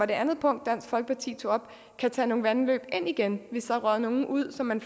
det andet punkt dansk folkeparti tog op kan tage nogle vandløb ind igen hvis der er røget nogle ud som man